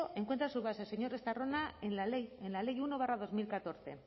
encuentra su base señor estarrona en la ley uno barra dos mil catorce